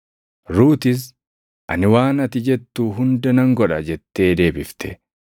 Ruutis, “Ani waan ati jettu hunda nan godha” jettee deebifte.